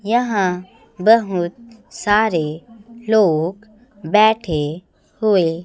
यहां बहुत सारे लोग बैठे हुए--